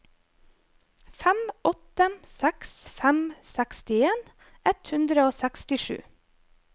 fem åtte seks fem sekstien ett hundre og sekstisju